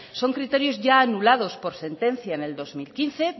son criterios ya anulados por sentencia en el dos mil quince